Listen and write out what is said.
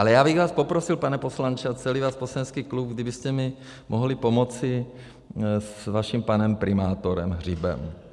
Ale já bych vás poprosil, pane poslanče, a celý váš poslanecký klub, kdybyste mi mohli pomoci s vaším panem primátorem Hřibem.